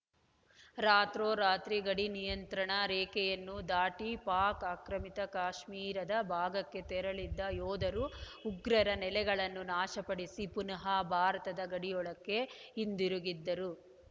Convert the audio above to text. ರಾತ್ರೋ ರಾತ್ರಿ ಗಡಿ ನಿಯಂತ್ರಣ ರೇಖೆಯನ್ನು ದಾಟಿ ಪಾಕ್‌ ಆಕ್ರಮಿತ ಕಾಶ್ಮೀರದ ಭಾಗಕ್ಕೆ ತೆರಳಿದ್ದ ಯೋಧರು ಉಗ್ರರರ ನೆಲೆಗಳನ್ನು ನಾಶಪಡಿಸಿ ಪುನಃ ಭಾರತದ ಗಡಿಯೊಳಕ್ಕೆ ಹಿಂದಿರುಗಿದ್ದರು